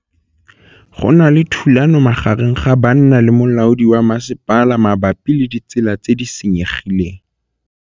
Go na le thulanô magareng ga banna le molaodi wa masepala mabapi le ditsela tse di senyegileng.